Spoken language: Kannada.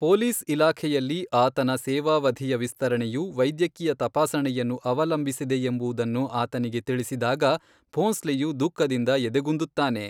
ಪೊಲೀಸ್ ಇಲಾಖೆಯಲ್ಲಿ ಆತನ ಸೇವಾವಧಿಯ ವಿಸ್ತರಣೆಯು ವೈದ್ಯಕೀಯ ತಪಾಸಣೆಯನ್ನು ಅವಲಂಬಿಸಿದೆಯೆಂಬುದನ್ನು ಆತನಿಗೆ ತಿಳಿಸಿದಾಗ ಭೋಂಸ್ಲೆಯು ದುಃಖದಿಂದ ಎದೆಗುಂದುತ್ತಾನೆ.